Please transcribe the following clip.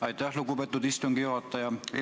Aitäh, lugupeetud istungi juhataja!